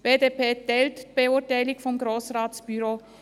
Die BDP teilt die Beurteilung des Grossratsbüros.